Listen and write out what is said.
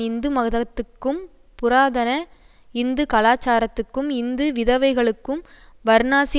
இந்து மதத்துக்கும் புராதன இந்து கலாச்சாரத்துக்கும் இந்து விதவைகளுக்கும் வர்ணாசி